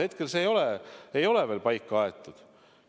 Hetkel ei ole see veel paika aetud.